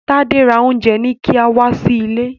Tade rà Oúnjẹ-ní-kíá wá sí ìlé.